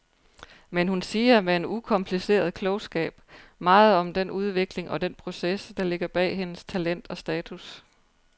Men hun siger med en ukompliceret klogskab meget om den udvikling og den proces, der ligger bag hendes talent og status.